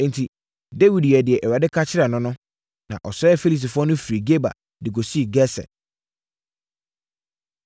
Enti, Dawid yɛɛ deɛ Awurade ka kyerɛɛ no no, na ɔsɛee Filistifoɔ no firi Geba de kɔsii Geser.